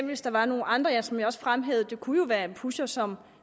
hvis der var nogle andre som jeg også fremhævede det kunne være en pusher som